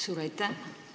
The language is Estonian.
Suur aitäh!